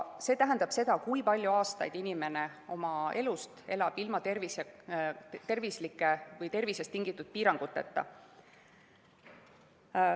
See tähendab seda, kui palju aastaid inimene oma elust elab ilma tervisest tingitud piiranguteta.